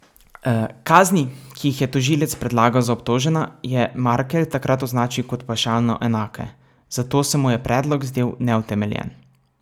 Kazni, ki jih je tožilec predlagal za obtožena, je Markelj takrat označil kot pavšalno enake, zato se mu je predlog zdel neutemeljen.